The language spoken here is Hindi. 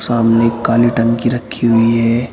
सामने काली टंकी रखी हुई है।